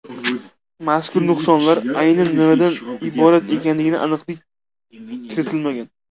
Mazkur nuqsonlar aynan nimalardan iborat ekanligiga aniqlik kiritilmagan.